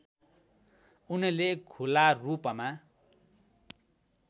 उनले खुलारूपमा